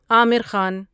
Aamir Khan